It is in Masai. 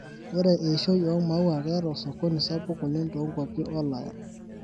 Ore eishoi oo maua keta osokoni sapuk oleng tonkwapi Olaya.